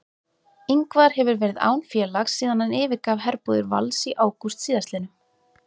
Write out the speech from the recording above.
Ingvar hefur verið án félags síðan hann yfirgaf herbúðir Vals í ágúst síðastliðnum.